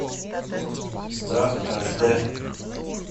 страх аш дэ